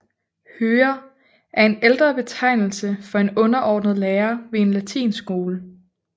Hører er en ældre betegnelse for en underordnet lærer ved en latinskole